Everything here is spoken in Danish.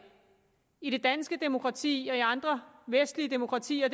i det danske demokrati og i andre vestlige demokratier